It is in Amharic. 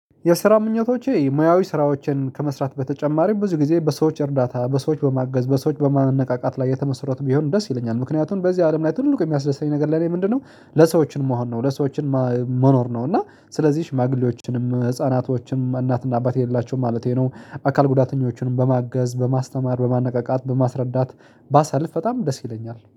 የስራ ምኞቶቼ ሙያዊ ስራዎችን ከመስራት በተጨማሪም ብዙ ጊዜ በሰዎች እርዳታ በሰዎች በማገዝ በሰዎች በማነቃቃት ላይ የተመሰረቱ ቢሆን ደስ ይለኛል ምክንያቱም በዚህ አለም ላይ ትልቁ የሚያስደስተኝ ነገር ለኔ ምንድነው? ለሰዎችን መሆን ነው ለሰዎችን መኖር ነው። እና ስለዚህ ሽማግሌዎችንም ህፃናቶችንም እናትና አባት የሌላቸውም ማለቴ ነው አካል ጉዳተኞችንም በማገዝ በማስተማር በማነቃቃት በማስረዳት። ባሳልፍ በጣም ደስ ይለኛል